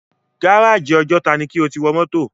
Gáràjì Ọjọ́ta ni kí o ti wọ mọ́tò!